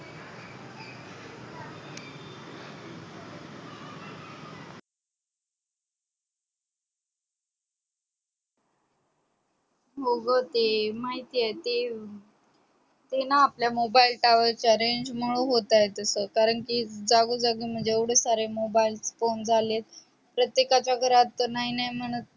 हो ग ते माहित आहे ते ते ना आपल्या mobile tower च्या renz मूळ होत तस कारण कि जागो जागी एवडे सारे mobile phone झालेत प्रत्येकाच्या घरात नाय नाय म्हणत